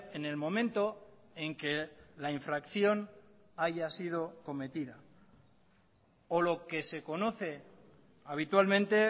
en el momento en que la infracción haya sido cometida o lo que se conoce habitualmente